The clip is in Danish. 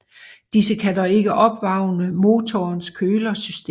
Disse kan dog ikke opvarme motorens kølesystem